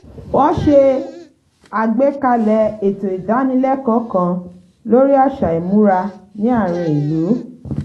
wọ́n s̩e àgbékalè̩ ètò ìdánilẹ́kọ̀ọ́ kan lórí àṣà ìmúra ní àárín ìlú